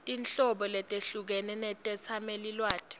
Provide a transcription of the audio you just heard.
tinhlobo letehlukene tetetsamelilwati